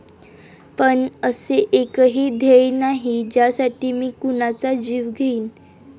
पण असे एकही ध्येय नाही ज्यासाठी मी कुणाचा जीव घेईन.